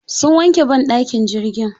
Sun wanke banɗakin jirgin.